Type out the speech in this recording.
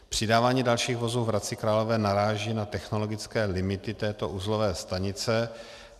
Přidávání dalších vozů v Hradci Králové naráží na technologické limity této uzlové stanice.